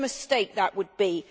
What a mistake that would be!